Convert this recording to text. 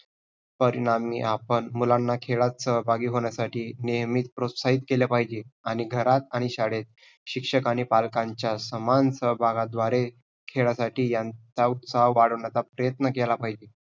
परिणामी आपण मुलांना खेळत सहभागी होण्यासाठी नेहमी प्रोत्साहित केले पाहिजे आणि घरात आणि शाळेत शिक्षक आणि पालकांच्या समान सहभागद्वारे खेळासाठी ह्यांचा उत्साह वाढवण्याचा प्रयत्न केला पाहिजे.